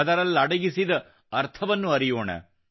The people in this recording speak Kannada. ಅದರಲ್ಲಡಗಿದ ಅರ್ಥವನ್ನೂ ಅರಿಯೋಣ